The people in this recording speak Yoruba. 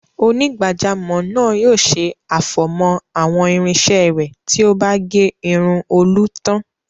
Onígbàjámọ̀ náà yóò ṣe àfọ̀mọ́ àwọn irinṣẹ́ rẹ̀ tí ó bá gé irun Olú tán.